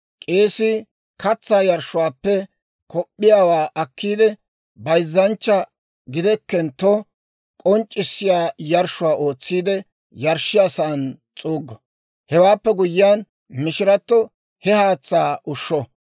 K'eesii katsaa yarshshuwaappe kop'p'iyaawaa akkiide bayzzanchcha gidekkentto k'onc'c'issiyaa yarshshuwaa ootsiide, yarshshiyaasan s'uuggo. Hewaappe guyyiyaan, mishirato he haatsaa ushsho.